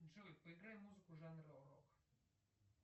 джой поиграй музыку жанра рок